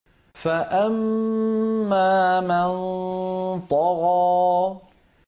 فَأَمَّا مَن طَغَىٰ